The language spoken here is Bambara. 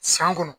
San kɔnɔ